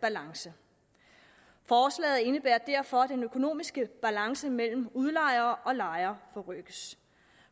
balance forslaget indebærer derfor at den økonomiske balance mellem udlejere og lejere forrykkes